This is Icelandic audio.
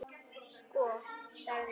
Sko. sagði Stefán.